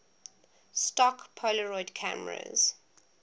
stock polaroid cameras